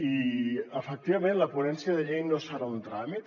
i efectivament la ponència de llei no serà un tràmit